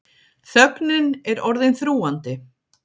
Þögnin er orðin þrúgandi.